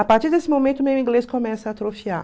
A partir desse momento, meu inglês começa a atrofiar.